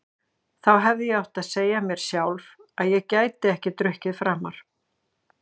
Þá hefði ég átt að segja mér sjálf að ég gæti ekki drukkið framar.